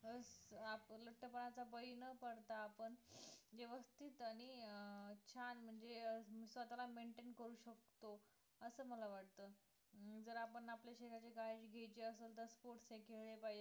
तर आपले लठ्ठपणाचा बळी न पडता आपण व्यवस्थित आणि अं छान म्हणजे अं स्वतःला maintain करू शकतो असं मला वाटतं अं जर आपण आपल्या शरीराची काळजी घ्यायची असेल तर sports हे खेळले पाहिजे